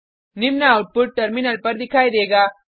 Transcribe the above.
निम्न output terminal पर दिखाई देगा